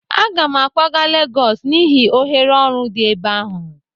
Aga m akwaga Legọs n'ihi ohere ọrụ dị ebe ahụ